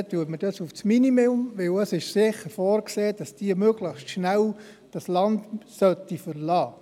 Diese setzen wir auf das Minimum, weil sicher vorgesehen ist, dass diese Leute das Land möglichst schnell verlassen sollten.